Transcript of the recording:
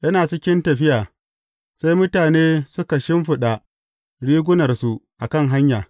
Yana cikin tafiya, sai mutane suka shimfiɗa rigunarsu a kan hanya.